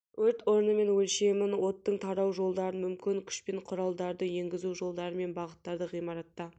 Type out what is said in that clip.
өрт орны мен өлшемін оттың тарау жолдарын мүмкін күш пен құралдарды енгізу жолдары мен бағыттарды ғимаратта